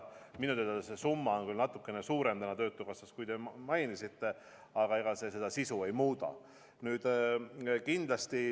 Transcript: Minu teada see summa on täna töötukassas küll natukene suurem, kui te mainisite, aga ega see sisu ei muuda.